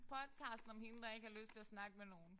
Podcasten om hende der ikke har lyst til at snakke med nogen